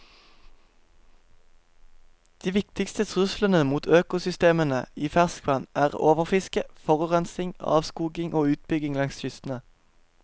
De viktigste truslene mot økosystemene i ferskvann er overfiske, forurensning, avskoging og utbygging langs kystene.